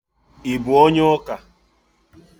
I bụ onye ụka?